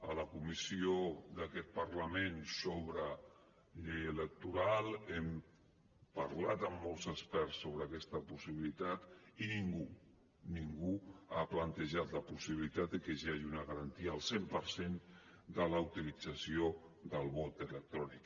a la comissió d’aquest parlament sobre llei electoral hem parlat amb molts experts sobre aquesta possibilitat i ningú ningú ha plantejat la possibilitat que hi hagi una garantia al cent per cent de la utilització del vot electrònic